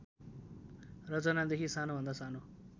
रचनादेखि सानोभन्दा सानो